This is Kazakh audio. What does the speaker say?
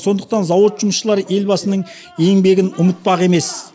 сондықтан зауыт жұмысшылары елбасының еңбегін ұмытпақ емес